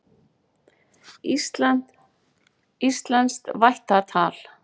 Íslenskt vættatal.